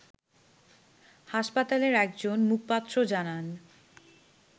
হাসপাতালের একজন মুখপাত্র জানান